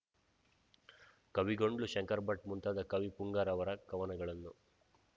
ಕವಿಗೊಂಡ್ಲು ಶಂಕರಭಟ್ ಮುಂತಾದ ಕವಿ ಪುಂಗವರ ಕವನಗಳನ್ನು